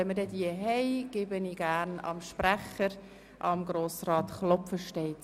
Wir kommen zu den Wahlen von Mitgliedern der Gerichtsbehörden.